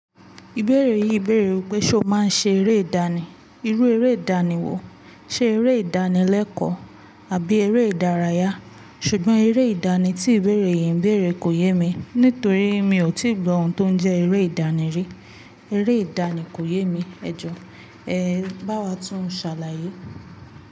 Ìbéèrè yìí béèrè wípé ṣe o máa ń ṣe eré ìdánì? Irú eré ìdánì wo? Ṣe eré ìdánì lẹ́kọ̀ọ́? Àbí eré ìdárayá? Ṣùgbọ́n eré ìdánì tí ìbéèrè yìí ń béèrè kò yé mi, nítorí mi ò tíì gbó ohun tó ń jẹ́ eré ìdánì rí. Eré ìdánì kò yé mi, ẹ jọ, ẹ bá wa tún un ṣàlàyé.